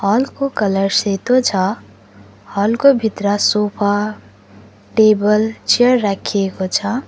हलको कलर सेतो छ हलको भित्र सोफा टेबल चेयर राखिएको छ।